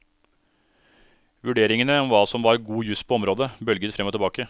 Vurderingene om hva som var god jus på området, bølget frem og tilbake.